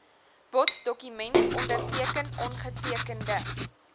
boddokument onderteken ongetekende